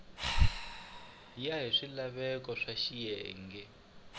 ya hi swilaveko swa xiyenge